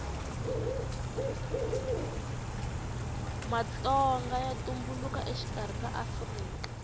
matonga ya tumbuluka exikarhi ka afrika